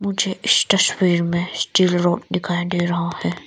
मुझे इस तस्वीर में स्टील रोड दिखाई दे रहा है।